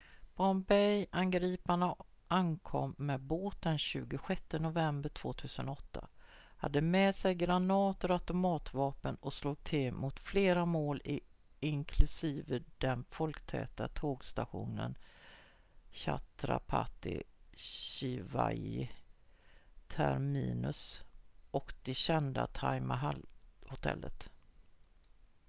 bombay-angriparna ankom med båt den 26 november 2008 hade med sig granater och automatvapen och slog till mot flera mål inklusive den folktäta tågstationen chhatrapati shivaji terminus och det kända taj mahal-hotellet